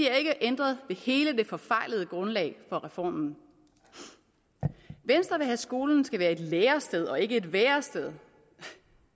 ændret ved hele det forfejlede grundlag for reformen venstre at skolen skal være et lærested og ikke et værested